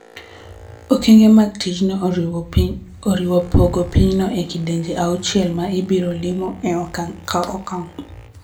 Okenge mag ticjno oriwo pogo pinyno e kidienje auchiel ma ibiro limo e okang� ka okang�.